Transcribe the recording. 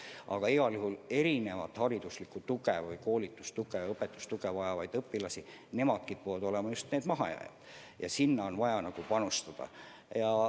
Aga igal juhul just erinevat hariduslikku tuge või õpetustuge vajavad õpilased kipuvad olema need mahajääjad ja sinna on vaja panustada.